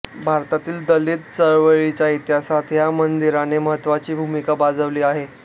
भारतातील दलित चळवळीच्या इतिहासात या मंदिराने महत्त्वाची भूमिका बजावली आहे